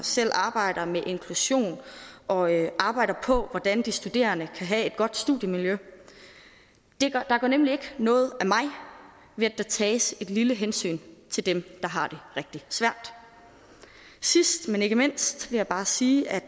selv arbejder med inklusion og arbejder på hvordan de studerende kan have et godt studiemiljø der går nemlig ikke noget af mig ved at der tages et lille hensyn til dem der har det rigtig svært sidst men ikke mindst vil jeg bare sige at